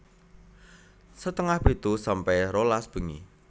setengah pitu sampe rolas bengi